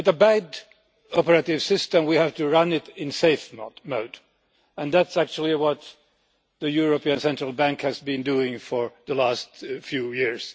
with a bad operating system, we have to run it in safe mode, and that is actually what the European Central Bank has been doing for the last few years.